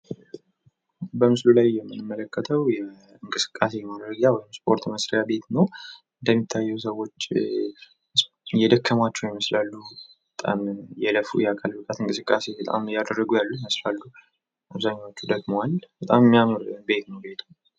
በምስሉ ላይ የምንመለከተው የእንቅስቃሴ ማድረጊያ ወይም ደግሞ የስፖርት ቤት ነው። እንደሚታየው ሰዎች የደከማቸው ይመስላሉ በጣም እየለፉ ያሉበት እንቅስቃሴ በጣም የደከሙ ይመስላሉ አብዛኞቹ ደክመዋል በጣም የሚያምር ቤት ነው።